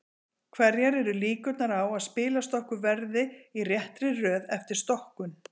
hverjar eru líkurnar á að spilastokkur verði í réttri röð eftir stokkun